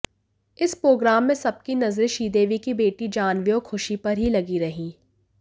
इस प्रोग्राम में सबकी नजरें श्रीदेवी की बेटी जाह्नवी और खुशी पर ही लगी रहीं